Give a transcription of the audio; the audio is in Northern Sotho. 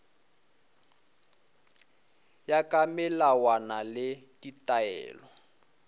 ya ka melawana le ditaelo